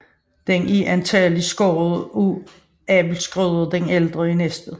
Den er antagelig skåret af Abel Schrøder den Ældre i Næstved